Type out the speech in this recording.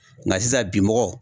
Nga sisan bi mɔgɔ